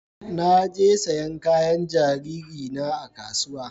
Na je sayan kayan jariri na a kasuwa